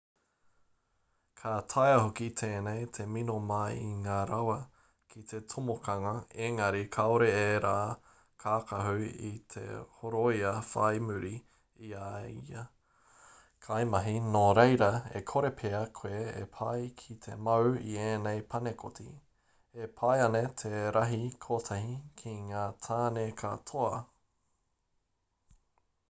ka taea hoki tēnei te mino mai i ngā rawa ki te tomokanga engari kāore ērā kākahu i te horoia whai muri i ia kaimahi nō reira e kore pea koe e pai ki te mau i ēnei panekoti e pai ana te rahi kotahi ki ngā tāne katoa